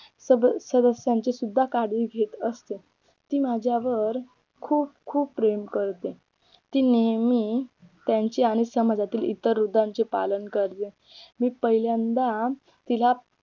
सगळं सदस्यांची सुद्धा काळजी घेत असते ती माझ्यावर खूप खूप प्रेम करते ती नेहमी त्यांच्या आणि समाजातील इतर वृद्धांचे पालन करते मी पहिल्यांदा तिला